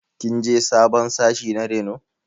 Kin je sabon sashi na reno?